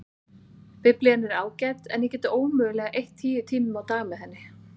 Biblían er ágæt en ég get ómögulega eytt tíu tímum á dag með henni.